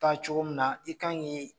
Taa cogo min na i kan k'i